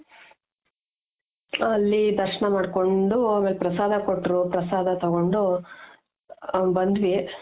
ಅಲ್ಲಿ ದರ್ಶ್ನ ಮಾಡ್ಕೊಂಡು ಆಮೇಲೆ ಪ್ರಸಾದ ಕೊಟ್ರು, ಪ್ರಸಾದ ತೊಗೊಂಡು ಬಂದ್ವಿ